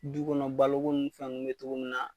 Du kɔnɔ baloko nin fɛn nunnu bi cogo min na